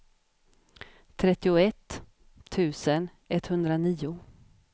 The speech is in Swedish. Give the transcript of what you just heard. trettioett tusen etthundranio